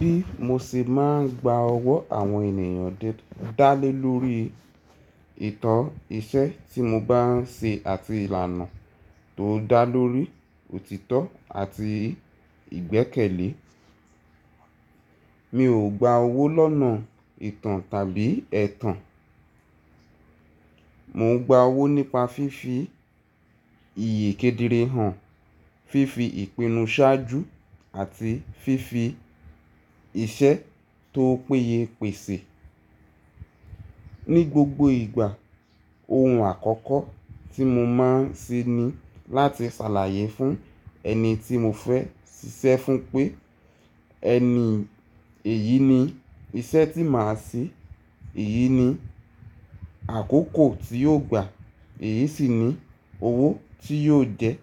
Bí mo ṣe máa ń gba ọwọ́ àwọn ènìyàn dá lé lórí ìtàn iṣẹ́ tí mo bá ń ṣe àti ìlànà tó dá lórí òtítọ́ àti ìgbẹ́kẹ̀lé. Mi ò gba owó lọ́nà ìtàn tàbí ẹ̀tàn. Mò ń gba owó nípa fífi ìyí kedere hàn, fífi ìpinnu ṣáájú àti fífi iṣẹ́ tó péye pèsè. Ni gbogbo ìgbà ohun àkọ́kọ́ tí mo máa ń ṣe ni láti ṣàlàyé fún ẹni tí mo fẹ́ ṣiṣẹ́ fún pé ẹni èyí ni iṣẹ́ tí màá ṣe, èyí ni àkókò tí yóò gbà, èyí sì ni owó tí yóò jẹ́.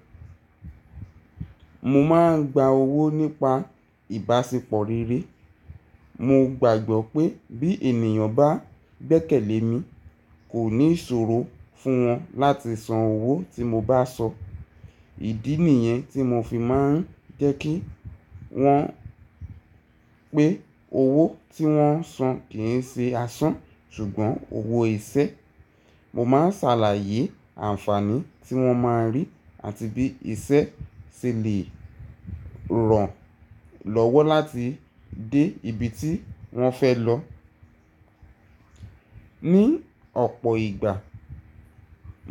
Mo máa ń gba owó nípa ìbáṣepọ̀ rere. Mo gbàgbọ́ pé bí ènìyàn bá gbẹ́kẹ̀lé mi kò ní ìṣòro fún wọn láti san owó tí mo bá sọ. Ìdí nìyẹn tí mo fi máa ń jẹ́ kí wọn pé owó tí wọ́n san kìí ṣe asán ṣùgbọ́n owó iṣẹ́. Mo máa ń ṣàlàyé àǹfààní tí wọ́n máa rí àti bí iṣẹ́ ṣe lè ràn lọ́wọ́ láti dé ibi tí wọ́n fẹ́ lọ. Ni ọ̀pọ̀ ìgbà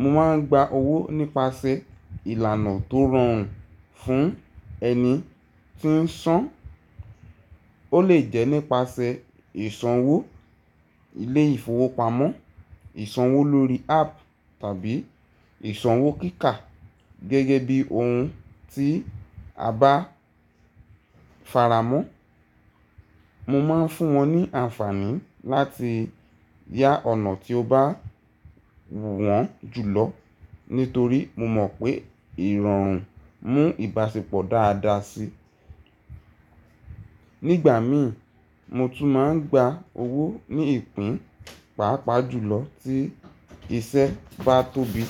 mo máa ń gba owó nípasẹ̀ ìlànà tó rọrùn fún ẹni tí ń san. Ó lè jẹ́ nípasẹ̀ ìsanwó ilé ìfowópamọ́, ìsanwó lórí app tàbí ìsanwó kíkà gẹ́gẹ́ bí ohun tí a bá faramọ́. Mo máa ń fún wọn ní àǹfààní láti yá ọ̀nà tí ó bá wù wọ́n jù lọ nítorí mo mọ̀ pé ìrọ̀rùn mú ìbáṣepọ̀ dáadáa sí. Nígbà mi mo tún máa ń gba owó ní ìpín pàápàá jùlọ tí iṣẹ́ bá tóbi.